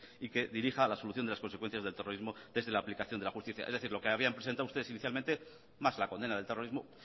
y que dirija la solución de las consecuencias del terrorismo desde la aplicación de la justicia es decir lo que habían presentado ustedes inicialmente más la condena del terrorismo